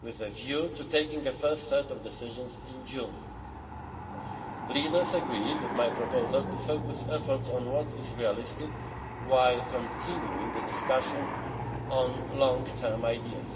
with a view to taking a first set of decisions in June. Leaders agreed with my proposal to focus efforts on what is realistic while continuing discussions on the long term ideas.